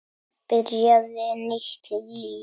Byrjaði nýtt líf.